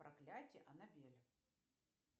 проклятие аннабель